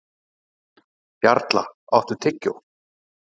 Jarla, áttu tyggjó?